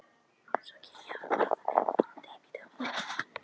Svo kem ég bráðum heim, vonandi í bítið á morgun.